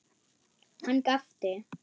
Hann gapti.